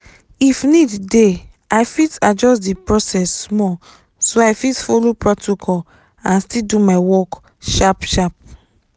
if need dey i fit adjust the process small so i fit follow protocol and still do my work sharp-sharp.